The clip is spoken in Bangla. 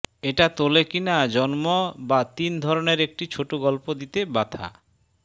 এটা তোলে কিনা জন্ম বা তিন ধরণের একটি ছোট গল্প দিতে ব্যাথা